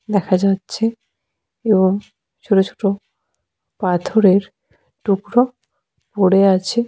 দেখা যাচ্ছে এবং ছোট ছোট পাথরের টুকরো পড়ে আছে।